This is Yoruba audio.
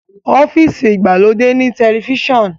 ọ́fíìsì igbalode ní Tẹlifíṣàn